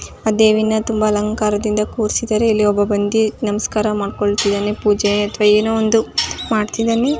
ಆ ದೇವಿನ ತುಂಬಾ ಅಲಂಕಾರ ದಿಂದ ಕೂರಿಸಿದ್ದಾರೆ ಇಲ್ಲಿ ಒಬ್ಬ ಬಂದಿ ನಮಸ್ಕಾರ ಮಾಡಿಕೊಳ್ಳುತ್ತಿದ್ದಾನೆ ಪೂಜೆ ಅಥವಾ ಏನೋ ಒಂದು ಮಾಡ್ತಿದ್ದಾನೆ .